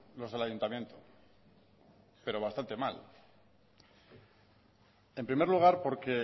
los del ayuntamiento pero bastante mal en primer lugar porque